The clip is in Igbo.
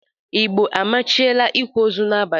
Igbo amachiela ikwa ozu n’abalị